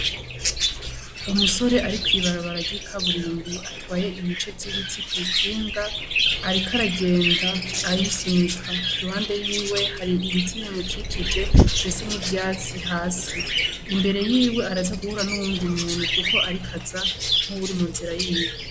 Umusore ari kw'ibarabara ry'ikaburimbo atwaye ibice vy'ibiti kw'ikinga, ariko aragenda arisunika, iruhande yiwe hari ibiti bimukikije ndetse n'ivyatsi hasi. Imbere yiwe araza guhura n'uyundi muntu kuko ariko aza nk'uwuri mu nzira yiwe.